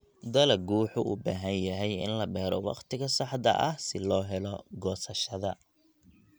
Dalaggu wuxuu u baahan yahay in la beero wakhtiga saxda ah si loo helo goosashada.